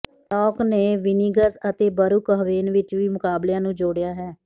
ਨੋਕ ਨੇ ਵਿਨਿੰਗਜ਼ ਅਤੇ ਬਰੁਕਹਵੇਨ ਵਿੱਚ ਵੀ ਮੁਕਾਬਲਿਆਂ ਨੂੰ ਜੋੜਿਆ ਹੈ